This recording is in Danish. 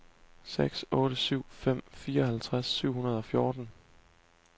seks otte syv fem fireoghalvfjerds syv hundrede og fjorten